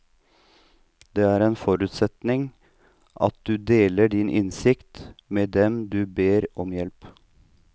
Det er en forutsetning at du deler din innsikt med dem du ber om hjelp.